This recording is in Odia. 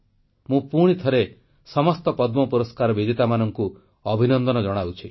ମୁଁ ପୁଣିଥରେ ସମସ୍ତ ପଦ୍ମ ପୁରସ୍କାର ବିଜେତାମାନଙ୍କୁ ଅଭିନନ୍ଦନ ଜଣାଉଛି